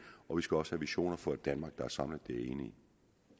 og vi skal også have visioner for et danmark der er samlet det er i